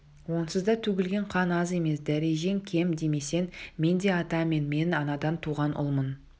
онсыз да төгілген қан аз емес дәрежең кем демесең мен де ата мен анадан туған ұлмын